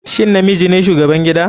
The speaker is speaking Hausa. Shin namiji ne shugaban gida/